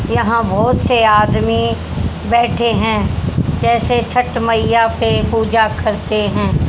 यहां बहोत से आदमी बैठे हैं जैसे छठ मईया पे पूजा करते है।